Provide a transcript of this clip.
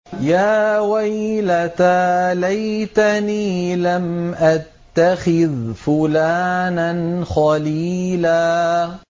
يَا وَيْلَتَىٰ لَيْتَنِي لَمْ أَتَّخِذْ فُلَانًا خَلِيلًا